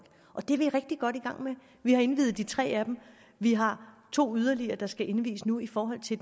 og det er vi rigtig godt i gang med vi har indviet de tre af dem vi har to yderligere der skal indvies nu i forhold til